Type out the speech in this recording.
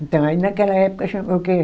Então, aí naquela época chama o quê?